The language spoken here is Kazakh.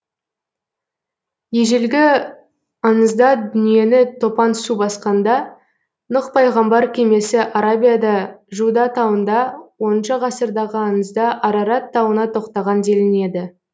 ежелгі аңызда дүниені топан су басқанда нұх пайғамбар кемесі арабияда жуда тауында оныншы ғасырдағы аңызда арарат тауына тоқтаған делінеді